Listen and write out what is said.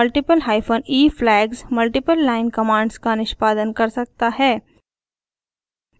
multiple hyphen e flags multiple line commands का निष्पादन कर सकता है